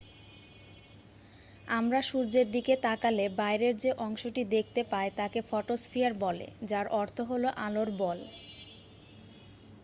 "আমরা সূর্যের দিকে তাকালে বাইরের যে অংশটি দেখতে পাই তাকে ফটোস্ফিয়ার বলে যার অর্থ "আলোর বল""।